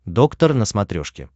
доктор на смотрешке